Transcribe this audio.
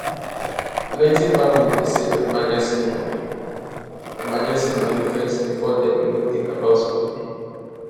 plenty families dey save emergency money emergency money first before dem even think about school fee